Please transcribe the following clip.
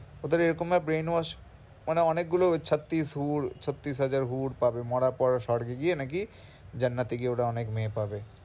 ওদের এরকমভাবে brain wash মানে অনেকগুলো ছত্রিশ হুর ছত্রিশ হাজার হুর পাবে মরার পর স্বর্গে গিয়ে নাকি জান্নাতে গিয়ে ওরা অনেক মেয়ে পাবে।